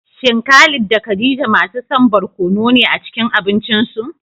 Shin Khalid da Khadija masu son barkono ne a cikin abincinsu?